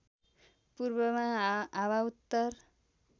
पूर्वमा हाँवा उत्तर